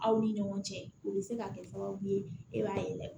Aw ni ɲɔgɔn cɛ o bɛ se ka kɛ sababu ye e b'a ye